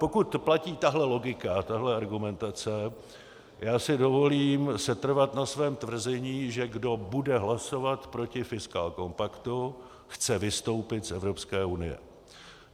Pokud platí tahle logika, tahle argumentace, já si dovolím setrvat na svém tvrzení, že kdo bude hlasovat proti fiskálnímu kompaktu, chce vystoupit z Evropské unie.